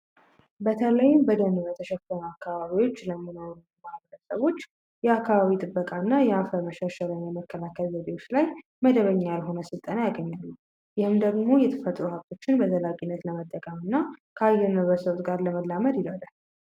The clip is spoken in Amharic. በተለይ በደን በተሸፈኑ አካባቢዎች ለሚኖሩ ማህበረሰቦች የአካባቢ ጥበቃና የአፈር መሸርሸርን መከላከል ዘዴዎች ላይ መደበኛ ያልሆነ ስልጠና ያገኛሉ፤ ይህም ደሞ የተፈጥሮ ሃብቶችን በዘላቂነት ለመጠቀምና ከአየር ንብረት ለውጥ ጋር ለመላመድ ይረዳል።